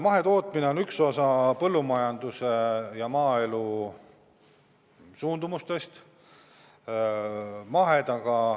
Mahetootmine on üks osa põllumajanduse ja maaelu suundumustest.